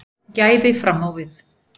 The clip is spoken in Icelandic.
Gæði fram á við